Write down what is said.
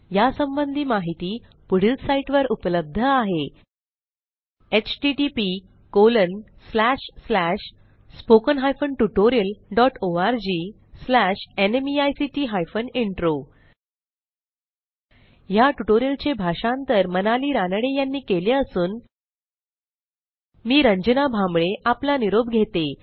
यासंबंधी माहिती पुढील साईटवर उपलब्ध आहेhttpspoken tutorialorgNMEICT Intro ह्या ट्युटोरियलचे भाषांतर मनाली रानडे यांनी केले असून मी रंजना भांबळे आपला निरोप घेते